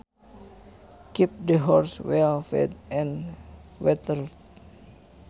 Keep the horses well fed and watered